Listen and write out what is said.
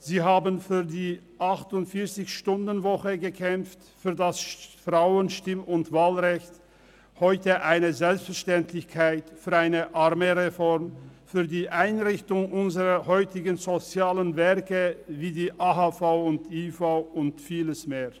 Sie kämpften für die 48-Stunden-Woche sowie für das Frauenstimm- und -wahlrecht – heute eine Selbstverständlichkeit für die Einrichtung unserer sozialen Werke wie die AHV, IV und vieles mehr.